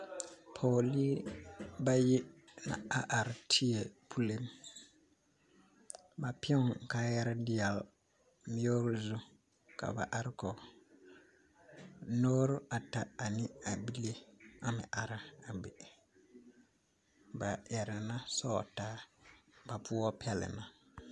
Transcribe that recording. Pɔgɔli bayi na are teɛ pule. Ba pɛgne kaayare deɛle mir zu ka ba are kɔ. Noore ata ane a bile, a meŋ ara a be. Ba ɛrɛ na sogtaa. Ba poɔ pɛle na